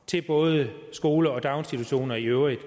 til både skoler og daginstitutioner i øvrigt